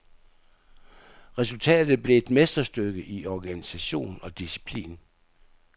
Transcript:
Resultatet blev et mesterstykke i organisation og disciplin.